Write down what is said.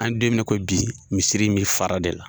An den min ko bi, misiri in bɛ fara de la.